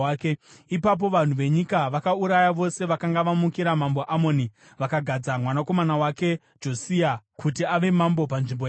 Ipapo vanhu venyika vakauraya vose vakanga vamukira Mambo Amoni, vakagadza mwanakomana wake Josia kuti ave mambo panzvimbo yake.